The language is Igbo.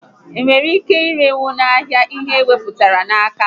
Enwere ike irenwu n'ahịa ihe e mepụtara na nka?